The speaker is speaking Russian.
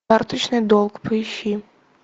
карточный долг поищи